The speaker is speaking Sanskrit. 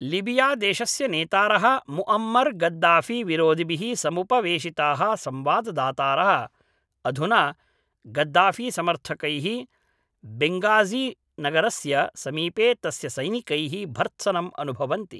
लीबियादेशस्य नेतारः मुअम्मर् गद्दाफीविरोधिभिः समुपवेशिताः संवाददातारः अधुना गद्दाफीसमर्थकैः बेङ्गाज़ीनगरस्य समीपे तस्य सैनिकैः भर्त्सनम् अनुभवन्ति